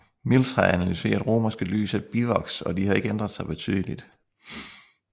Mills har analyseret romerske lys af bivoks og de har ikke ændret sig betydeligt